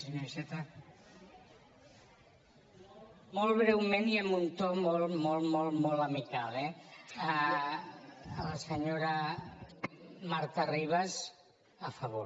molt breument i amb un to molt molt molt amical eh a la senyora marta ribas a favor